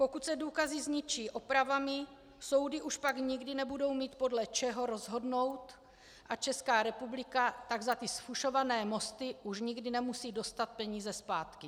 Pokud se důkazy zničí opravami, soudy už pak nikdy nebudou mít podle čeho rozhodnout a Česká republika tak za ty zfušované mosty už nikdy nemusí dostat peníze zpátky.